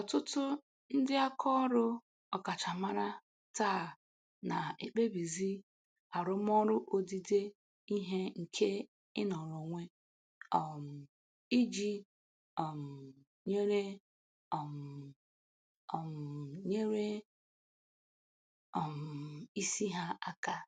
Ọtụtụ ndị aka ọrụ ọkachamara taa na-ekpebizi arụmọrụ odide ihe nke ịnọrọ onwe um iji um nyere um um nyere um isi ha aka.